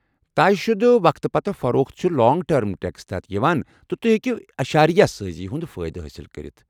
طےٚ شُدٕ وقتہٕ پتہٕ فروخت چھِ لانٛگ ٹٔرم ٹٮ۪کسس تحت یوان تہٕ تۄہہِ ہیٚکو اشاریہ سٲزی ہٗند فٲیدٕ حٲصل کٔرتھ ۔